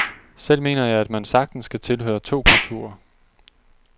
Selv mener jeg, at man sagtens kan tilhøre to kulturer.